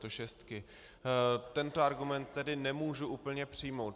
Tento argument tedy nemůžu úplně přijmout.